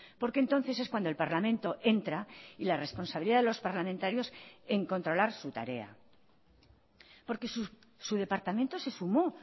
porque entonces es cuando el parlamento entra y la responsabilidad de los parlamentarios en controlar su tarea porque su departamento se sumó